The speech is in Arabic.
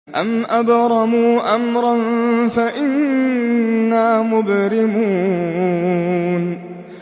أَمْ أَبْرَمُوا أَمْرًا فَإِنَّا مُبْرِمُونَ